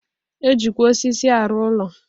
E jikwa osisi arụ ụlọ.